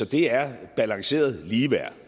det er balanceret ligeværd